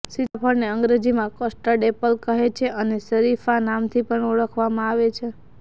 સીતાફળ ને અંગ્રેજીમાં custard apple કહે છે અને શરીફા નામથી પણ ઓળખવામાં આવે છે